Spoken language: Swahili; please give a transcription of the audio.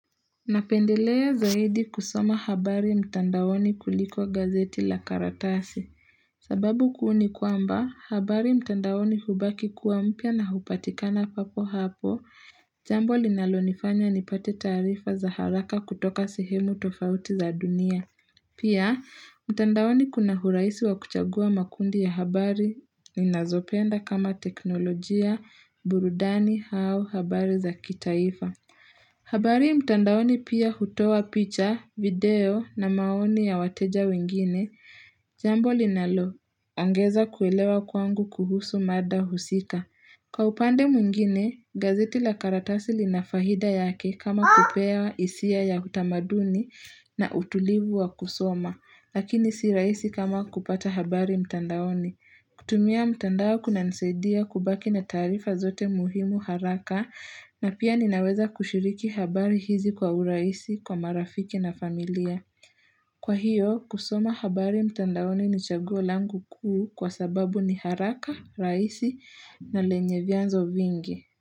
Napendelea zaidi kusoma habari mtandaoni kuliko gazeti la karatasi. Sababu kuu ni kwamba, habari mtandaoni hubaki kuwa mpya na hupatikana papo hapo, jambo linalonifanya nipate taarifa za haraka kutoka sehemu tofauti za dunia. Pia, mtandaoni kuna urahisi wa kuchagua makundi ya habari, ninazopenda kama teknolojia, burudani au habari za kitaifa. Habari mtandaoni pia hutoa picha, video na maoni ya wateja wengine Jambo linalo ongeza kuelewa kwangu kuhusu mada husika Kwa upande mwingine, gazeti la karatasi lina faida yake kama kupea hisia ya utamaduni na utulivu wa kusoma Lakini si rahisi kama kupata habari mtandaoni kutumia mtandao kunanisaidia kubaki na taarifa zote muhimu haraka na pia ninaweza kushiriki habari hizi kwa urahisi, kwa marafiki na familia. Kwa hiyo, kusoma habari mtandaoni ni chaguo langu kuu kwa sababu ni haraka, rahisi na lenye vyanzo vingi.